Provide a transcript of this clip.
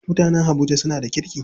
Mutanen habuja suna da kirki.